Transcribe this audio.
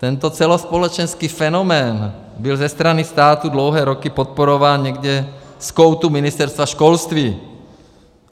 Tento celospolečenský fenomén byl ze strany státu dlouhé roky podporován někde z koutu Ministerstva školství.